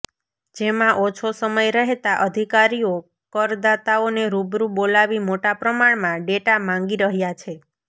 જેમાં ઓછો સમય રહેતા અધિકારીઓ કરદાતાઓને રૂબરૂ બોલાવી મોટા પ્રમાણમાં ડેટા માંગી રહ્યાં છે